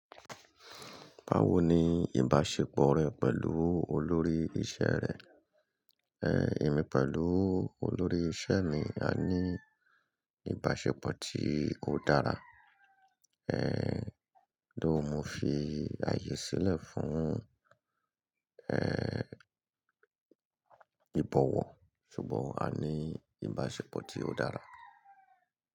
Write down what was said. Báwo ni ìbáṣepọ̀ rẹ pẹ̀lú olórí iṣẹ́ rẹ? Èmi pẹ̀lú olórí iṣẹ́ mi, a ní ìbáṣepọ̀ tí ó dára. Thóugh mo fi ààyè sílẹ̀ fún, ìbọ̀wọ̀, ṣùgbọ́n a ní ìbáṣepọ̀ tí ó dára.